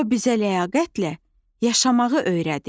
O bizə ləyaqətlə yaşamağı öyrədir.